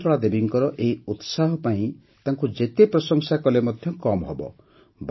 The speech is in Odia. ଶକୁନ୍ତଳା ଦେବୀଙ୍କର ଏହି ଉତ୍ସାହ ପାଇଁ ତାଙ୍କୁ ଯେତେ ପ୍ରଶଂସା କଲେ ମଧ୍ୟ କମ୍ ହେବ